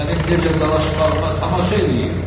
İndi mənim necə dalaşmağıma tamaşa eləyin.